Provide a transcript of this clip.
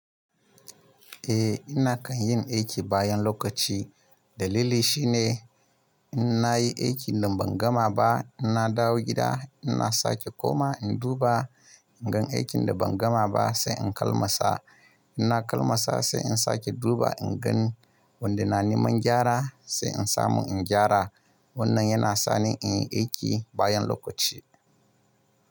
Eh, ina kan yin aiki bayan lokaci. Dalili shi ne in nayi aikin da ban gama ba ina dawo gida, ina sake koma in duba ingan aikin da ban gama ba sai in kalmasa. Ina kalmasa sai in sake duba ingan wanda na neman gyara sai in samu in gyara. Wannan yana sani in yi aiki bayan lokaci.